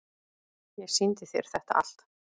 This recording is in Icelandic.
Ég sýndi þér þetta allt.